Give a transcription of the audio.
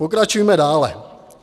Pokračujme dále.